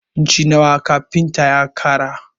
Inci nawa kafintan ya ƙara?